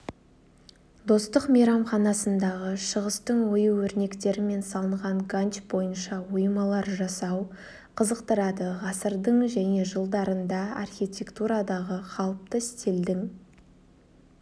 достық мейрамханасындағы шығыстың ою-өрнектермен салынған ганч бойынша оймалар жасау қызықтырады ғасырдың және жылдарында архитектурадағы қалыпты стильдің